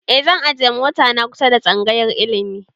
E zan ajiye mota na kusa tsangayar ilimi